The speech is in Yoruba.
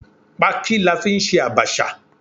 Pááki la fí n sẹ abacha